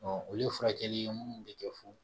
olu ye furakɛli ye minnu bɛ kɛ fu